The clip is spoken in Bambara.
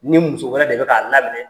Ni muso wɛrɛ de bɛ k'a laminɛ